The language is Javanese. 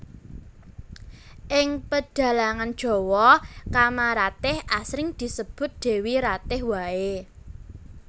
Ing pedhalangan Jawa Kamaratih asring disebut Dewi Ratih waé